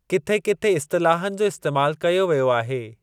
किथे किथे इस्तिलाहनि जो इस्तेमालु कयो वियो आहे।